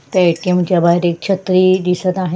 त्या ए.टी.एम. च्या बाहेर एक छत्री दिसत आहे.